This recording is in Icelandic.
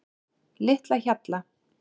Litlahjalla